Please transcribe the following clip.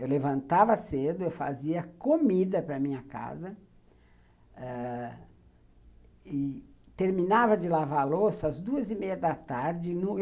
Eu levantava cedo, eu fazia comida para minha casa ãh e terminava de lavar a louça às duas e meia da tarde.